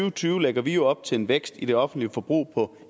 og tyve lægger vi jo op til en vækst i det offentlige forbrug på